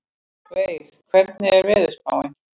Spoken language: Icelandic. Veig, hvernig er veðurspáin?